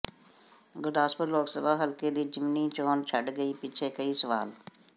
ਗੁਰਦਾਸਪੁਰ ਲੋਕ ਸਭਾ ਹਲਕੇ ਦੀ ਜ਼ਿਮਨੀ ਚੋਣ ਛੱਡ ਗਈ ਪਿੱਛੇ ਕਈ ਸਵਾਲ